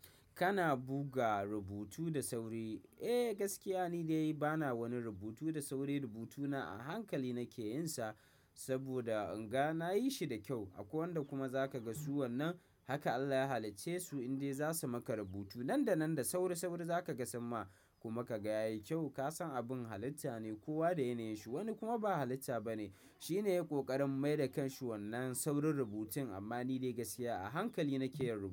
Kana buga rubutu da sauri. Eh, gaskiya ni dai bana wani rubutu da sauri. Rubutuna a hankali nake yin sa saboda in ga na yi shi da kyau. Akwai wanda kuma za ka ga su wannan haka Allah ya halicce su indai za su maka rubutu nan da nan da sauri, sauri za ka ga samma' kuma ka ga yayi kyau. Ka san abin halitta ne kowa da yanayin shi, wani kuma ba halitta ba ne. Shi ne ya ƙoƙarin mai da kanshi wannan saurin rubutun amma ni dai gaskiya a hankali nake yin rubutu.